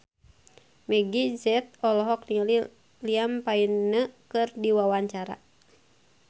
Meggie Z olohok ningali Liam Payne keur diwawancara